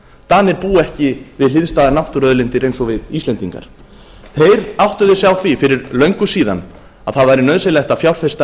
danir búa ekki við hliðstæðar náttúruauðlindir eins og við íslendingar þeir áttuðu sig á því fyrir löngu síðan að það væri nauðsynlegt að fjárfesta